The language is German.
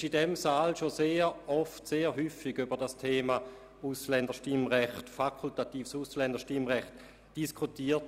Es wurde in diesem Saal schon sehr häufig über das Thema fakultatives Ausländerstimmrecht diskutiert.